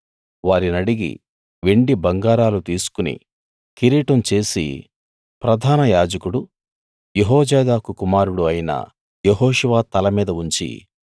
వారినడిగి వెండి బంగారాలు తీసుకుని కిరీటం చేసి ప్రధాన యాజకుడు యెహోజాదాకు కుమారుడు అయిన యెహోషువ తల మీద ఉంచి